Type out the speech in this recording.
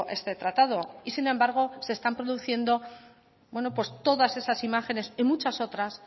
este tratado y sin embargo se están produciendo todas esas imágenes y muchas otras